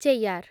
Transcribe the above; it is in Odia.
ଚେୟ୍ୟାର୍